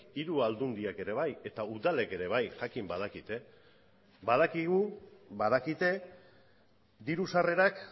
hiru aldundiak ere bai eta udalek ere bai jakin badakite badakigu badakite diru sarrerak